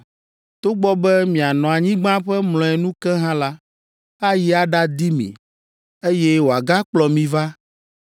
Togbɔ be mianɔ anyigba ƒe mlɔenu ke hã la, ayi aɖadi mi, eye wòagakplɔ mi va